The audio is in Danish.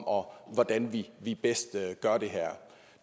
om hvordan vi vi bedst gør det her